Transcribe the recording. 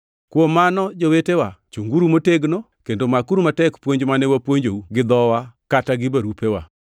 Kuom mano, jowetewa, chunguru motegno, kendo makuru matek puonj mane wapuonjou gi dhowa kata gi barupewa.